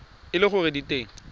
e le gore di teng